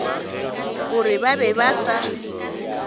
gore ba be ba sa